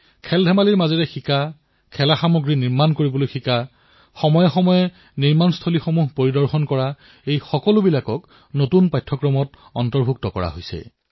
খেলাৰ মাজেৰে শিকা খেলাসামগ্ৰী বনোৱা শিকা খেলাসামগ্ৰী যত প্ৰস্তুত কৰা হয় সেই স্থান পৰিদৰ্শন কৰা এই সকলোবোৰ পাঠ্যক্ৰমত অন্তৰ্ভুক্ত কৰা হৈছে